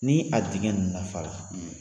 Ni a digɛ in lafala